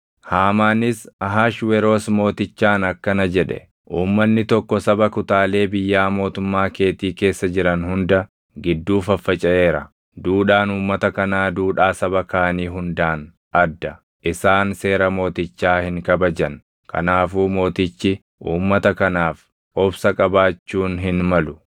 Haamaanis Ahashweroos Mootichaan akkana jedhe; “Uummanni tokko saba kutaalee biyyaa mootummaa keetii keessa jiran hunda gidduu faffacaʼeera; duudhaan uummata kanaa duudhaa saba kaanii hundaan adda; isaan seera mootichaa hin kabajan; kanaafuu mootichi uummata kanaaf obsa qabaachuun hin malu.